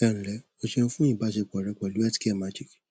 ẹ ǹlẹ o ṣeun fún ìbásepọ rẹ pẹlú healthcare magic